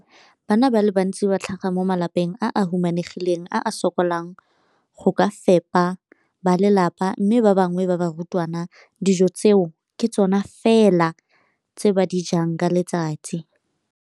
Bana ba le bantsi ba tlhaga mo malapeng a a humanegileng a a sokolang go ka fepa ba lelapa mme ba bangwe ba barutwana, dijo tseo ke tsona fela tse ba di jang ka letsatsi.